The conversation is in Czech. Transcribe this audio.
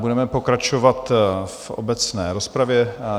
Budeme pokračovat v obecné rozpravě.